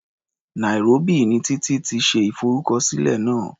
Nairobi ni Títí ti ṣe ìfọrúkọsílẹ̀ náà.